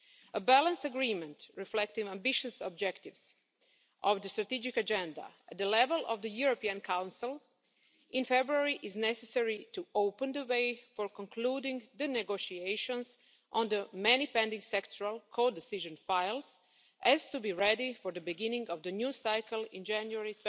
A balanced agreement reflecting the ambitious objectives of the strategic agenda at the level of the European Council in February is necessary to open the way for concluding the negotiations on the many pending sectoral codecision files so as to be ready for the beginning of the new cycle in January